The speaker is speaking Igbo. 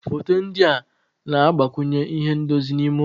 Foto ndị a na-agbakwunye ihe ndozi n'ime ụlọ.